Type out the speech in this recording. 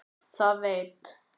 Það ég veit.